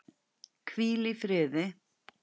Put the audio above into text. Hvíl í friði!